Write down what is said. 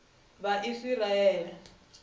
vhaisiraele